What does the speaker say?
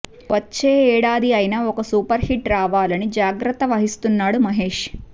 వచ్చే ఏడాది అయిన ఒక సూపర్ హిట్ రావాలని జాగ్రత్త వహిస్తున్నాడు మహేష్